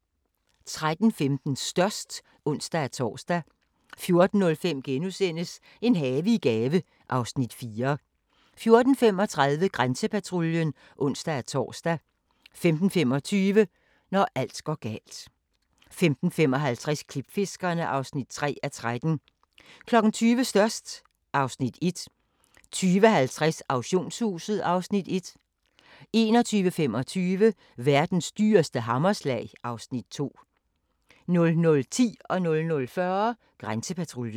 13:15: Størst (ons-tor) 14:05: En have i gave (Afs. 4)* 14:35: Grænsepatruljen (ons-tor) 15:25: Når alt går galt 15:55: Klipfiskerne (3:13) 20:00: Størst (Afs. 1) 20:50: Auktionshuset (Afs. 1) 21:25: Verdens dyreste hammerslag (Afs. 2) 00:10: Grænsepatruljen 00:40: Grænsepatruljen